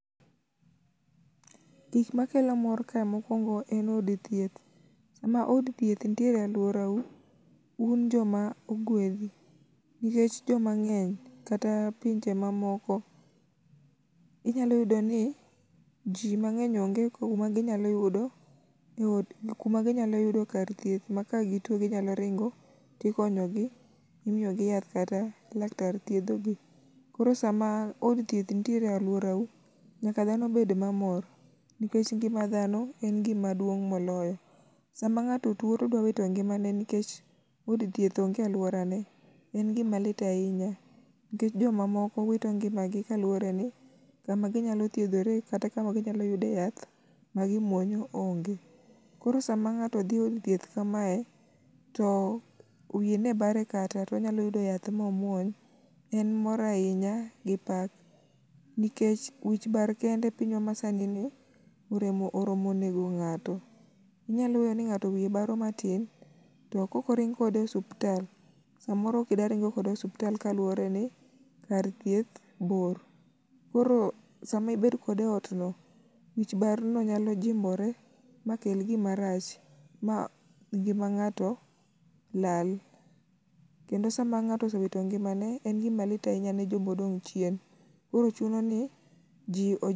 Gik makelo mor kae mokuongo en od thieth. Sama od thieth nitiere e aluorau, un joma ogwedhi nikech joma ng'eny kata pinje mamoko, inyalo yudo ni ji mang'eny onge kuma ginyalo yudo eod kuma ginyalo yudo kar thieth ma kagituo ginyalo ringo to ikonyo gi , imiyogi yath kata laktar thiedho gi. Koro sama od thieth nitiere e aluorau nyaka dhano bed mamor nikech ngima dhano en gima duong' moloyo. Sama ng'ato tuo to odwaro ngimane nikech od thieth onge e aluorane en gima lit ahinya nikech jomamoko wito ngimagi kaluwore ni kama ginyalo thiedhore kata kama ginyalo yude yath magimuonyo onge. Koro sama ng'ato dhi od thieth kamae to wiye ne bare kata to onyalo yudo yath ma omuony en mor ahinya gi pak nikech wich bar kende e pinywa masanini oromo nego ng'ato. Inyalo we ni ng'ato wiye baro matin to kaok oring kode e osiptal samoro kidek dhi kode osiptal kaluworeni kar thieth bor mkoro sama ibedo kode eotno wich barno nyalo jimbore makel gima rach mangima ng'ato lal kendo sama ng'ato osewito ngimane en gima lit ahinya ne joma odong' chien koro chuno ni ji oj